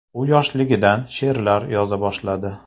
U yoshligidan she’rlar yoza boshladi.